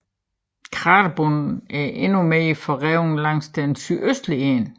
Kraterbunden er endnu mere forrevet langs den sydøstlige side